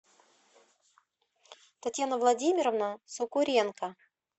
татьяна владимировна сокуренко